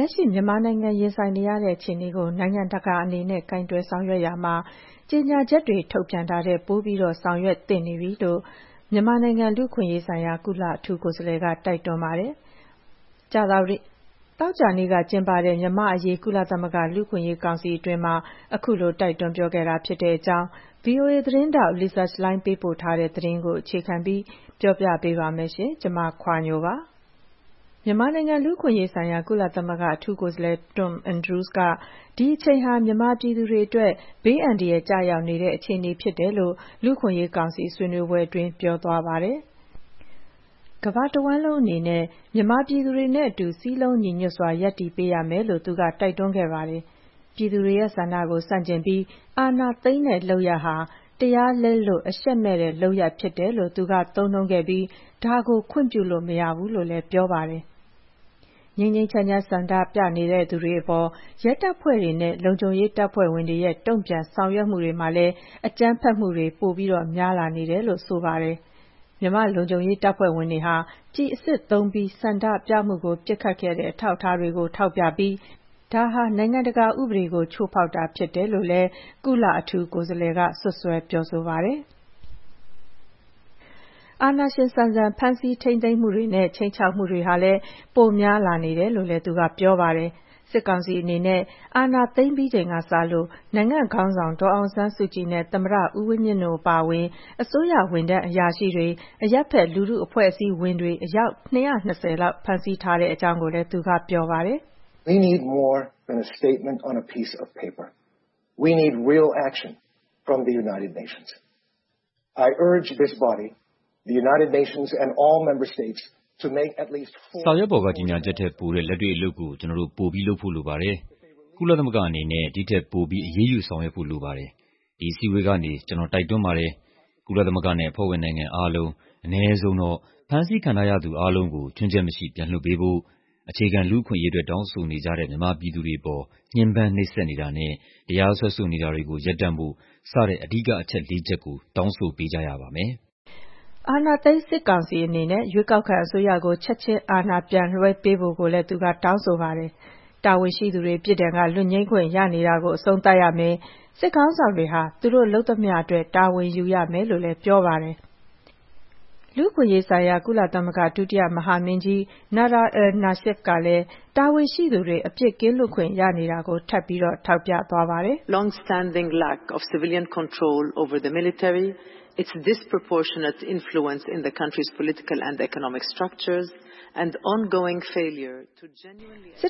က်ရှိ မြန်မာနိုင်ငံ ရင်ဆိုင်နေရတဲ့ အခြေအနေကို နိုင်ငံတကာအနေနဲ့ ကိုင်တွယ်ဆောင်ရွက်ရာမှာ ကြေညာချက်တွေ ထုတ်ပြန်တာတွေထက် ပိုပြီး လုပ်ဆောင်သင့်နေပြီလို့ မြန်မာနိုင်ငံ လူ့အခွင့်အရေးဆိုင်ရာ ကုလအထူးကိုယ်စားလှယ်က တိုက်တွန်းခဲ့ပါတယ်။ မနေ့တုန်းက ကျင်းပတဲ့ မြန်မာ့အရေး ကုလသမဂ္ဂ လူ့အခွင့်အရေးကောင်စီ အတွင်းမှာ အခုလို တိုက်တွန်းပြောဆိုခဲ့တာပါ။ ဗွီအိုအေသတင်းထောက် Lisa Schlein ပေးပို့ထားတဲ့သတင်းကို အခြေခံပြီး မခွာညို တင်ဆက်ပေးပါမယ်။ မြန်မာနိုင်ငံ လူ့အခွင့်အရေးဆိုင်ရာ ကုလသမဂ္ဂ အထူးကိုယ်စားလှယ် Tom Andrews က ဒီအချိန်ဟာ မြန်မာပြည်သူတွေအတွက် ဘေးအန္တရာယ်ကျနေတဲ့ အခြေအနေဖြစ်ကြောင်း လူ့အခွင့်အရေးကောင်စီ ဆွေးနွေးပွဲအတွင်း ပြောခဲ့ပါတယ်။ ကမ္ဘာတဝန်းလုံးအနေနဲ့ မြန်မာပြည်သူတွေနဲ့အတူ စည်းလုံးညီညွတ်စွာ ရပ်တည်ပေးရမယ်လို့ သူက တိုက်တွန်းပါတယ်။ ပြည်သူတွေရဲ့ ဆန္ဒကို ဆန့်ကျင်ပြီး အာဏာသိမ်းတဲ့လုပ်ရပ်ဟာ တရားလက်လွတ် အရှက်မဲ့တဲ့လုပ်ရပ် ဖြစ်တယ်လို့ သူက သုံးနှုန်းပြီး ဒါကို ခွင့်ပြုလို့မရဘူးလို့ ပြောခဲ့ပါတယ်။ ငြိမ်းငြိမ်းချမ်းချမ်း ဆန္ဒပြနေသူတွေအပေါ် ရဲတပ်ဖွဲ့တွေနဲ့ လုံခြုံရေးတပ်ဖွဲ့ဝင်တွေရဲ့ တုံ့ပြန်ဆောင်ရွက်မှုတွေမှာလည်း အကြမ်းဖက်မှုတွေ ပိုများလာနေတယ်လို့ ဆိုပါတယ်။ မြန်မာလုံခြုံရေးတပ်ဖွဲ့ဝင်တွေက ကျည်အစစ်သုံးပြီး ဆန္ဒပြမှုကို ပစ်ခတ်ခဲ့တဲ့ အထောက်အထားတွေကို ထောက်ပြပြီး ဒါဟာ နိုင်ငံတကာဥပဒေကို ချိုးဖောက်တာ ဖြစ်တယ်လို့လည်း ကုလ အထူးကိုယ်စားလှယ်က စွပ်စွဲပါတယ်။ အာဏာရှင်ဆန်ဆန် ဖမ်းဆီးထိန်းသိမ်းမှုတွေနဲ့ ခြိမ်းခြောက်မှုတွေဟာလည်း ပိုများလာနေတယ်လို့လည်း ပြောပါတယ်။ စစ်ကောင်စီအနေနဲ့ စစ်အာဏာသိမ်းပြီးချိန်ကစလို့ နိုင်ငံခေါင်းဆောင် ဒေါ်အောင်ဆန်းစုကြည်နဲ့ သမ္မတဦးဝင်းမြင့်တို့ အပါအဝင် အစိုးရဝန်ထမ်းအရာရှိတွေ၊ အရပ်ဘက် လူထုအဖွဲ့အစည်းဝင်တွေ အယောက် ၂၂၀ ကို ဖမ်းဆီးထားကြောင်းလည်း သူက ပြောပါတယ်။ “စာရွက်ပေါ်က ကြေညာချက်ထက် ပိုတဲ့ လက်တွေ့အလုပ်ကို ကျနော်တို့ ပိုပြီးလုပ်ဖို့လိုပါတယ်။ ကုလသမဂ္ဂကြီးအနေနဲ့ ဒီထက်ပိုပြီး အရေးယူဆောင်ရွက်ဖို့ လိုပါတယ်။ ဒီအစည်းအဝေးကနေ ကျနော် တိုက်တွန်းပါတယ်။ ကုလသမဂ္ဂနဲ့ အဖွ့ဲဝင်နိုင်ငံ အားလုံး အနည်းဆုံးတော့ ဖမ်းဆီးထားခံရသူ အားလုံး ခြွင်းချက်မရှိ ပြန်လွှတ်ပေးဖို့၊ အခြေခံလူ့အခွင့်အရေးအတွက် တောင်းဆိုနေကြတဲ့ မြန်မာပြည်သူတွေအပေါ် ညှဉ်းပန်းနှိပ်စက်နေတာနဲ့ တရားစွဲဆိုနေတာတွေကို ရပ်တန့်ဖို့ စတဲ့ အနည်းဆုံးတော့ အဓိကအချက်လေးချက်ကို တောင်းဆိုပေးကြရပါမယ်။” အာဏာသိမ်းစစ်ကောင်စီအနေနဲ့ ရွေးကောက်ခံအစိုးရကို ချက်ချင်း အာဏာပြန်လွှဲပေးဖို့ကိုလည်း သူက တောင်းဆိုပါတယ်။ တာဝန်ရှိသူတွေ ပြစ်ဒဏ်က လွတ်ငြိမ်းခွင့်ရနေတာ အဆုံးသတ်ရမယ်၊ စစ်ခေါင်းဆောင်တွေဟာ သူတို့လုပ်သမျှအတွက် တာဝန်ယူရမယ်လို့လည်း ပြောပါတယ်။ လူ့အခွင့်အရေးဆိုင်ရာ ကုလသမဂ္ဂ ဒုတိယမဟာမင်းကြီး Nada al-Nashif ကလည်း တာဝန်ရှိသူတွေ အပြစ်ကင်းလွတ်ခွင့်ရနေတာကို ထပ်ပြီး ထောက်ပြခဲ့ပါတယ်။ “စစ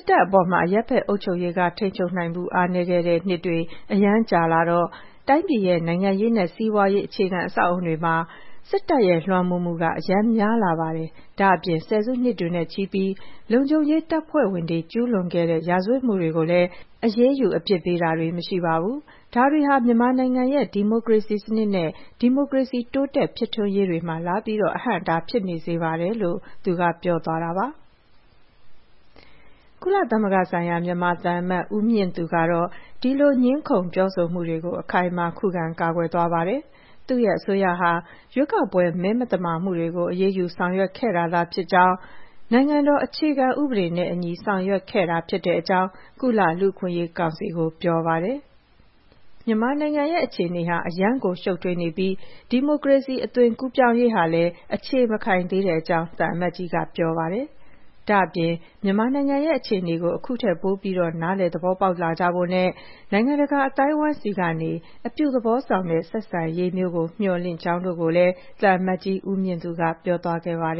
်တပ်ပေါ်မှာ အရပ်ဘက်အုပ်ချုပ်ရေးက ထိန်းချုပ်နိုင်မှု အားနည်းခဲ့တဲ့နှစ်တွေ အရမ်းကြာလာတော့ တိုင်းပြည်ရဲ့ နိုင်ငံရေးနဲ့ စီးပွားရေး အခြေခံအဆောက်အအုံတွေမှာ စစ်တပ်ရဲ့လွှမ်းမိုးမှုက အရမ်းများလာပါတယ်။ ဒါ့အပြင် ဆယ်စုနှစ်တွေနဲ့ချီပြီး လုံခြုံရေးတပ်ဖွဲ့ဝင်တွေ ကျူးလွန်ခဲ့တဲ့ ရာဇဝတ်မှုတွေကိုလည်း အရေးုယူ အပြစ်ပေးတာတွေ မရှိပါဘူး။ ဒါတွေဟာ မြန်မာနိုင်ငံရဲ့ ဒီမိုကရေစီစနစ်နဲ့ ဒီမိုကရေစီ တိုးတက်ဖြစ်ထွန်းရေးတွေမှာ လာပြီး အဟန့်အတား ဖြစ်နေစေပါတယ်။” ကုလသမဂ္ဂဆိုင်ရာ မြန်မာသံအမတ် ဦးမြင့်သူကတော့ ဒီလို ငြင်းခုံပြောဆိုမှုတွေကို အခိုင်အမာ ခုခံကာကွယ်သွားပါတယ်။ သူ့ရဲ့အစိုးရဟာ ရွေးကောက်ပွဲ မဲမသမာမှုတွေကို အရေးယူ ဆောင်ရွက်ခဲ့တာသာ ဖြစ်ကြောင်းနဲ့ နိုင်ငံတော်အခြေခံဥပဒေနဲ့အညီ ဆောင်ရွက်ခဲ့တာဖြစ်ကြောင်း ကုလလူ့အခွင့်အရေးကောင်စီကို ပြောပါတယ်။ မြန်မာနိုင်ငံရဲ့ အခြေအနေဟာ အရမ်းကို ရှုပ်ထွေးနေပြီး ဒီမိုကရေစီ အသွင်ကူးပြောင်းရေးဟာလည်း အခြေမခိုင်သေးကြောင်း သံအမတ်ကြီးက ပြောပါတယ်။ ဒါ့အပြင် မြန်မာနိုင်ငံရဲ့ အခြေအနေကို အခုထက်ပိုပြီး နားလည်သဘောပေါက်လာကြဖို့နဲ့ နိုင်ငံတကာအသိုင်းအဝိုင်းဆီကနေ အပြုသဘောဆောင်တဲ့ ဆက်ဆံရေးမျိုးကို မျှော်လင့်ကြောင်းတို့ကိုလည်း သံအမတ်ကြီး ဦးမြင့်သူက ပြောသွားခဲ့ပါတယ်